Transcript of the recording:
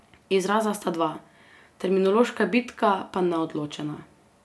Izraza sta dva, terminološka bitka pa neodločena.